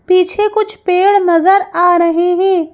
पीछे कुछ पेड़ नजर आ रहे हैं।